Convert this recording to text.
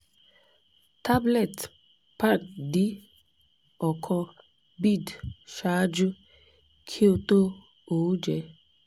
tablet pan d ọkan bid ṣaaju ki o to oúnjẹ